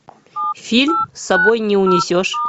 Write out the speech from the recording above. фильм с собой не унесешь